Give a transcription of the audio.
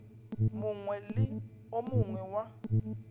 mongwe le o mongwe wa